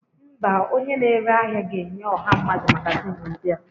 Mba, onye na-ere ahịa ga-enye ọha mmadụ magazịn ndị a